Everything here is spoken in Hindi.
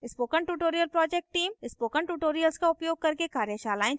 spoken tutorial project team spoken tutorials का उपयोग करके कार्यशालाएं चलाती है